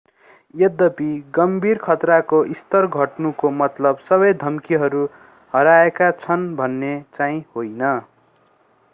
यद्यपि गम्भीर खतराको स्तर घट्नुको मतलब सबै धम्कीहरू हराएका छन् भन्ने चाहिँ होइन